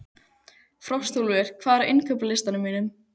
Frostúlfur, hvað er á innkaupalistanum mínum?